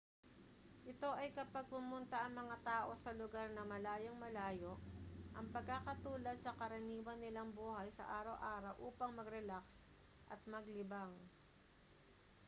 ito ay kapag pumunta ang mga tao sa lugar na malayung-malayo ang pagkakatulad sa karaniwan nilang buhay sa araw-araw upang magrelaks at maglibang